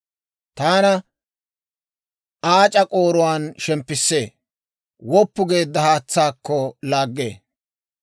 Taana aac'a k'ooruwaan shemppissee; woppu geedda haatsaakko laaggee.